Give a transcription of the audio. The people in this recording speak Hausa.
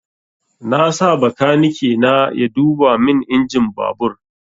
Na sa bakaniki na ya duba min injin babur